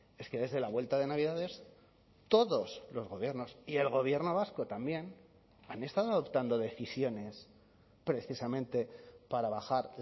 es que desde la vuelta de navidades todos los gobiernos y el gobierno vasco también han estado adoptando decisiones precisamente para bajar